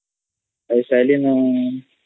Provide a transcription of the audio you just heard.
ଖାଇସରିଲୁଣୁ